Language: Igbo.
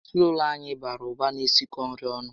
Ezinaụlọ anyị bàrà ụba na-esikọ nri ọnụ